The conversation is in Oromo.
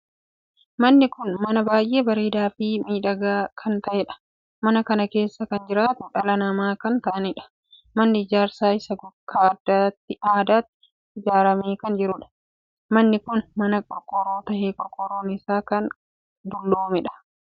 Manni kun mana baay'ee bareedaa Fi miidhagaa kan taheedha. mana kana keessa kan jiraatu dhala namaa kan taahaniidha. manni ijaarsi isaa akka addaatti ijaaramee kan jiruudha. manni kun mana qorqorroo tahee qorqorroon isaa kan dolloomeedha. manni kun kutaa addaa addaa qaba.